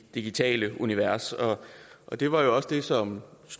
digitale univers det var jo også det som